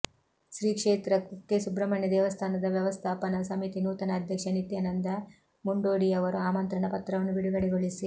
ಶ್ರೀ ಕ್ಷೇತ್ರ ಕುಕ್ಕೆ ಸುಬ್ರಹ್ಮಣ್ಯ ದೇವಸ್ಥಾನದ ವ್ಯವಸ್ಥಾಪನಾ ಸಮಿತಿ ನೂತನ ಅಧ್ಯಕ್ಷ ನಿತ್ಯಾನಂದ ಮುಂಡೋಡಿಯವರು ಆಮಂತ್ರಣ ಪತ್ರವನ್ನು ಬಿಡುಗಡೆಗೊಳಿಸಿ